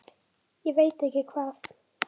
Ég veit ekki hvað